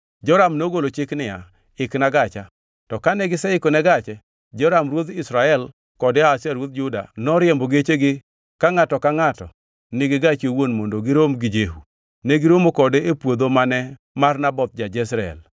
Joram nogolo chik niya, “Ikna gacha.” To kane giseikone gache, Joram ruodh Israel kod Ahazia ruodh Juda noriembo gechegi, ka ngʼato ka ngʼato ni e gache owuon mondo girom gi Jehu. Negiromo kode e puodho mane mar Naboth ja-Jezreel.